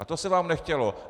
A to se vám nechtělo.